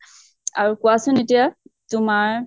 আৰু কোৱাচোন এতিয়া তোমাৰ